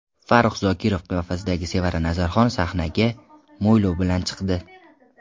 Farrux Zokirov qiyofasidagi Sevara Nazarxon sahnaga mo‘ylov bilan chiqdi.